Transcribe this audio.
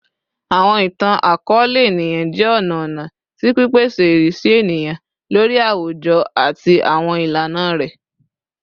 Awọn itan-akọọlẹ eniyan jẹ ọna ọna ti pipese irisi eniyan lori awujọ ati awọn ilana rẹ